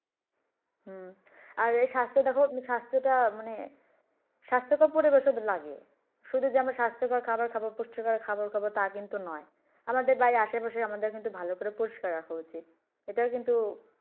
হম আর স্বাস্থ্য দেখো স্বাস্থ্য টা মানে স্বাস্থ্য কর পরিবেশ লাগে শুধু যে আমরা স্বাস্থ্য কর খাবার খাবো, পুষ্টি কর খাবার খাবো তা কিন্তু নয়। আমাদের বাড়ির আশে পাশে আমাদের কিন্তু পরিস্কার রাখা উচিৎ এটাও কিন্তু